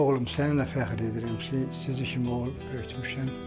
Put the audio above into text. Oğlum, səninlə fəxr edirəm ki, sizi kimi oğul böyütmüşəm.